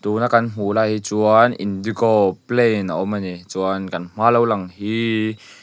tuna kan hmuh lai hi chuan indigo plane a awm ani chuan kan hmaa lo lang hi--